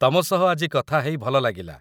ତମ ସହ ଆଜି କଥା ହେଇ ଭଲ ଲାଗିଲା